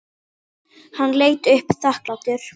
Hann leit upp þakklátur.